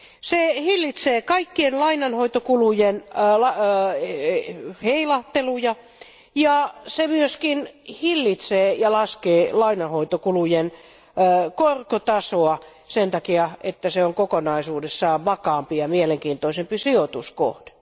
Se hillitsee kaikkien lainanhoitokulujen heilahteluja ja se myöskin hillitsee ja laskee lainanhoitokulujen korkotasoa sen takia, että se on kokonaisuudessaan vakaampi ja mielenkiintoisempi sijoituskohde.